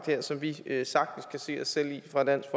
her som vi sagtens kan se os selv i fra dansk